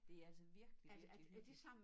Det altså virkelig virkelig hyggeligt